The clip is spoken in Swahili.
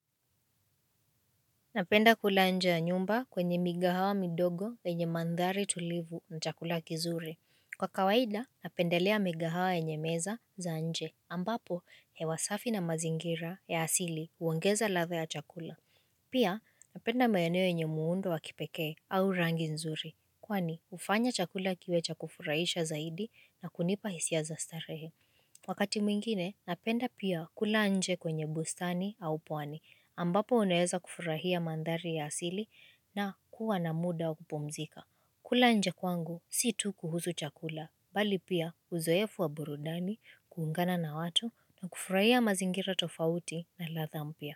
Napenda kula nje ya nyumba kwenye migahawa midogo wenye mandhari tulivu na chakula kizuri. Kwa kawaida napendelea migahawa yenye meza za nje, ambapo hewa safi na mazingira ya asili huogeza ladha ya chakula. Pia napenda maeneo yenye muundo wakipekee au rangi nzuri. Kwani hufanya chakula kiwe cha kufurahisha zaidi na kunipa hisia za starehe. Wakati mwingine, napenda pia kula nje kwenye bustani au pwani, ambapo uneweza kufurahia mandhari ya asili na kuwa na muda wa kupumzika, kula nje kwangu si tu kuhusu chakula bali pia uzoefu wa burudani kuungana na watu na kufurahia mazingira tofauti na ladha mpya.